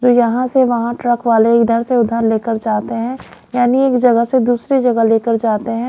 जो यहां से वहां ट्रक वाले इधर से उधर लेकर जाते हैं यानी एक जगह से दूसरी जगह लेकर जाते हैं।